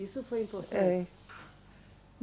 Isso foi importante. É